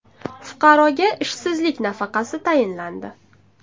Fuqaroga ishsizlik nafaqasi tayinlandi.